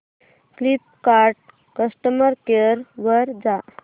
Flipkart customer care वर जा